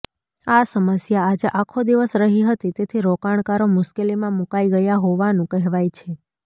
આ સમસ્યા આજે આખો દિવસ રહી હતી તેથી રોકાણકારો મૂશ્કેલીમાં મૂકાય ગયા હોવાનુ કહેવાય છે